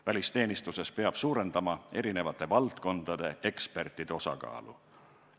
Välisteenistuses peab suurendama erinevate valdkondade ekspertide osakaalu.